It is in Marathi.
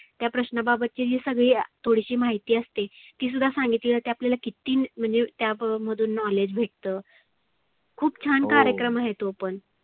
त्या प्रश्नाबाबत ची जी थोडिशी माहिती असते ती सुद्धा सांगितली जाते. आपल्याला किती म्हणजे त्या मधुन knowledge भेटतं. खुप छान कार्यक्रम आहे तो पण.